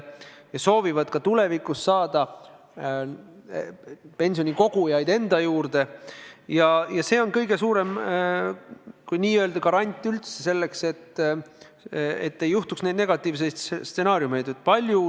Nad soovivad pensionikogujaid juurde saada ja see on kõige suurem garant, et ei käivituks negatiivseid stsenaariume.